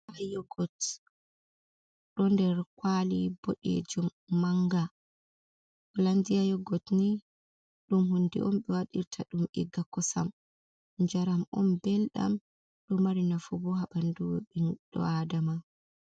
Yogot ɗo nder kwaali boɗeejum mannga, Holandia yogot nii, ɗum hunde on ɓe waɗirta ɗum iga kosam, njaram on mbelɗam, ɗo mari nafu boo haa ɓandu ɓiɗɗo Aadama.